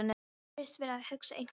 Virðist vera að hugsa einhver ráð.